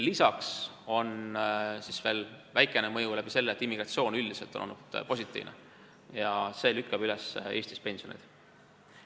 Lisaks on väikene mõju sellel, et immigratsioon on üldiselt olnud positiivne, ja seegi lükkab Eestis pensioni üles.